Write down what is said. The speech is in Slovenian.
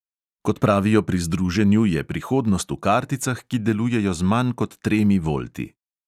Kot pravijo pri združenju, je prihodnost v karticah, ki delujejo z manj kot tremi volti.